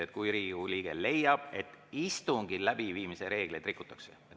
Seal on öeldud, et kui Riigikogu liige leiab, et istungi läbiviimise reegleid rikutakse.